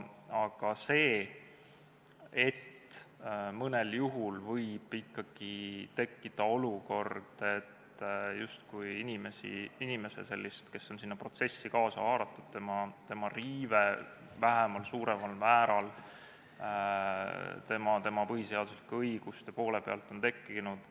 Aga mõnel juhul võib ikkagi tekkida olukord, kus justkui inimesel, kes on sinna protsessi kaasa haaratud, on tekkinud vähemal või suuremal määral tema põhiseaduslike õiguste poole peal riive.